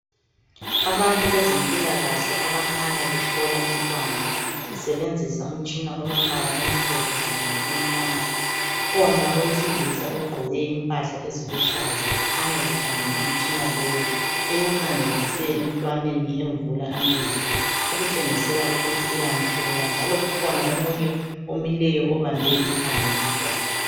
Abantu bezempilakahle abakhanya behlola umntwana besebenzisa umtshina olombala omhlophe kanye lokumnyama. Ukhona owesilisa ogqoke impahla eziluhlaza ekhanya ekhangele umtshina lowu ewukhangelise emntwaneni emvula amehlo okutshengisela ukuthi uyamhlola njalo kukhona omunye omileyo obambe ikhanda lomntwana